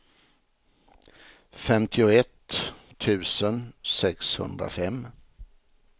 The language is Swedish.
femtioett tusen sexhundrafem